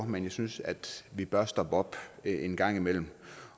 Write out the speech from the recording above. men jeg synes at vi bør stoppe op en gang imellem